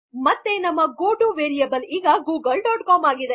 ಮತ್ತೆ ನಮ್ಮ ಗೊಟು ವೆರಿಯಬಲ್ ಈಗ ಗೂಗಲ್ ಡಾಟ್ ಕಾಮ್